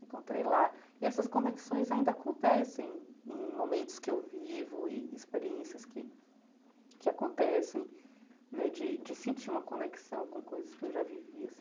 Encontrei lá e essas conexões ainda acontecem em em momentos que eu vivo e experiências que que acontecem né de de sentir uma conexão com coisas que eu já vivi.